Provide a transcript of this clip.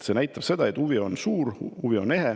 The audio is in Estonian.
See näitab, et huvi on suur ja see huvi on ehe.